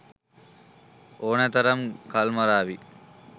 ඕනෑ තරම් කල්මරාවි.